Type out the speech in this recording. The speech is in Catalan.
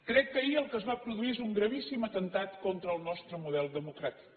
crec que ahir el que es va produir és un gravíssim atemptat contra el nostre model democràtic